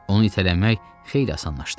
Onu itələmək xeyli asanlaşdı.